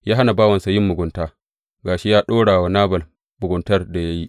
Ya hana bawansa yin mugunta, ga shi ya ɗora wa Nabal muguntar da ya yi.